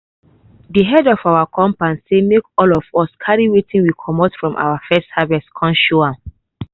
de head of our compound say make all of us carry wetin we comot from first harvest come show am.